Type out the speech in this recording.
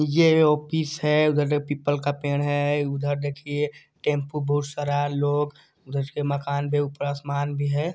ये ऑफिस है ये पीपल का पेड़ है उधर देखिये टेम्पू बहुत सारा है लोग उधर मकान भी है ऊपर आसमान भी है।